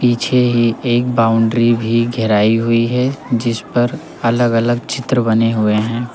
पीछे ही एक बाउंड्री भी घेराई हुई है जिसपर अलग-अलग चित्र बने हुए हैं।